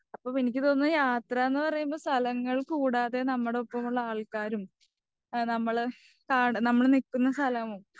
അപ്പം എനിക്ക് തോന്നുന്നത് യാത്രാന്ന് പറയുമ്പോൾ സ്ഥലങ്ങൾ കൂടാതെ നമ്മുടെ ഒപ്പമുള്ള ആൾക്കാരും നമ്മള് കാണുന്ന നമ്മള് നിൽക്കുന്ന സ്ഥലവും.